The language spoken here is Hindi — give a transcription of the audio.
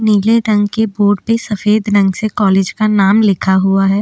नीले रंग के बोड पे सफ़ेद रंग से कॉलेज का नाम लिखा हुआ है।